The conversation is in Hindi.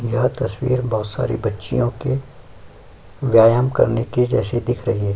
यह तस्वीर बहुत सारे बच्चियों के व्यायाम करने के जैसे दिख रही है।